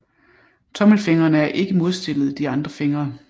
Tommelfingrene er ikke modstillet de andre fingre